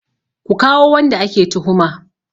Ku kawo wanda ake tuhuma!